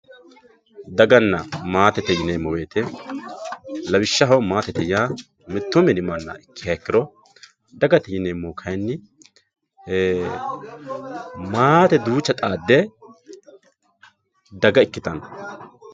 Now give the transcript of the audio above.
daganna maate yineemmo woyte lawishshaho maatete yaa mittu mini manna ikkiha ikkiro dagate yineemmohu kaynni ee maate duucha xaadde daga ikkitanno